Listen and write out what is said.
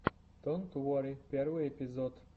донт уорри первый эпизод